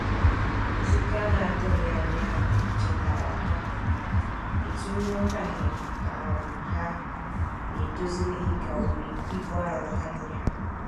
Nzukọ anatughi anya ahu chetara ha etu nwotaghe um ha n'edozilighi ka bụ ibụ arọ ha nya